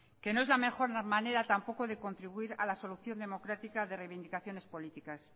que no es la mejor manera tampoco de contribuir a la solución democrática de reivindicaciones políticas